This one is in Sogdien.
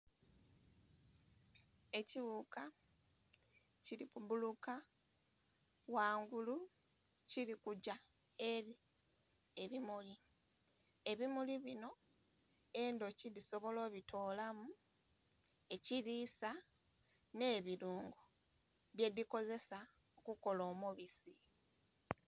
Ekighuka kirikubbuluka ghangulu kirikugya eri ebimuli, ebimuli binho endhuki dhisobola odhitolamu ekirisa nhebirungo byedhikozesa okukola omubisi.